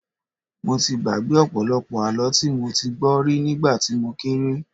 Mo ti gbàgbé ọ̀pọ̀lọpọ̀ àlọ́ tí mo ti gbọ́ rí nígbà tí mo kéré